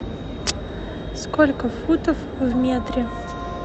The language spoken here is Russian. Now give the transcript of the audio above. сколько футов в метре